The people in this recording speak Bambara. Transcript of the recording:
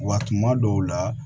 Wa tuma dɔw la